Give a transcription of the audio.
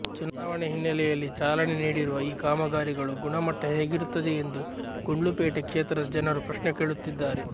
ಚುನಾವಣೆ ಹಿನ್ನೆಲೆಯಲ್ಲಿ ಚಾಲನೆ ನೀಡಿರುವ ಈ ಕಾಮಗಾರಿಗಳು ಗುಣಮಟ್ಟ ಹೇಗಿರುತ್ತದೆ ಎಂದು ಗುಂಡ್ಲುಪೇಟೆ ಕ್ಷೇತ್ರದ ಜನರು ಪ್ರಶ್ನೆ ಕೇಳುತ್ತಿದ್ದಾರೆ